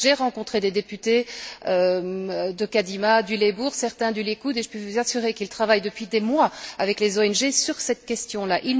J'ai rencontré des députés de Kadima, du Labour, certains du Likoud et je peux vous assurer qu'ils travaillent depuis des mois avec les ONG sur cette question là.